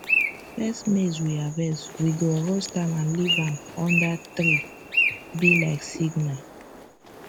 first maize we harvest we go roast am and leave am under treee be like signal